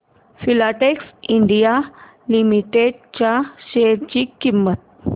Filatex India Limited च्या share ची किंमत